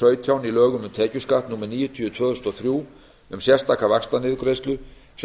xlii í lögum um tekjuskatt númer níutíu tvö þúsund og þrjú um sérstaka vaxtaniðurgreiðslu sem